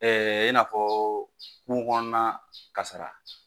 i n'a fɔ kunko kɔnɔ na kasara